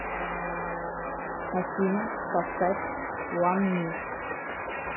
афина поставь уан ми